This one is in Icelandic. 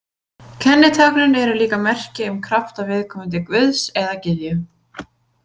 Kennitáknin eru líka merki um krafta viðkomandi guðs eða gyðju.